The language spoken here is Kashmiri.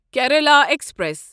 کیرالا ایکسپریس